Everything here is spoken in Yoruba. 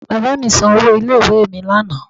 Bàbá mi san owó ilé ìwé mi lánàá